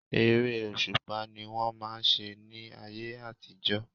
Eré òṣùpá ni wọ́n máà ń ṣe ní ayé àtijọ́.